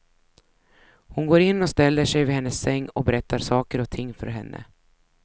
Hon går in och ställer sig vid hennes säng och berättar saker och ting för henne.